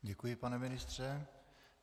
Děkuji, pane ministře.